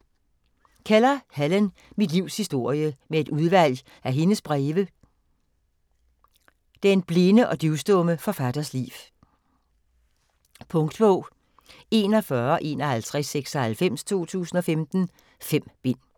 Keller, Helen: Mit livs historie: med et udvalg af hendes breve Den blinde og døvstumme forfatters liv. Punktbog 415196 2015. 5 bind.